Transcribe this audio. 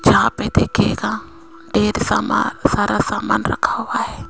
जहां पे देखिएगा ढेर सामा सारा सामान रखा हुआ है।